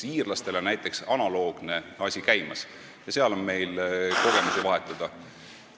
Iirlastel on näiteks analoogne asi käimas ja nendega on meil kogemusi vahetada.